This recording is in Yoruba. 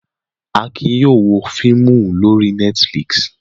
Akin yóò wo fíímù lórí Netflix.